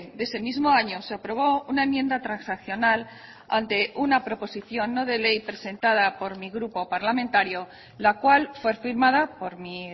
de ese mismo año se aprobó una enmienda transaccional ante una proposición no de ley presentada por mi grupo parlamentario la cual fue firmada por mi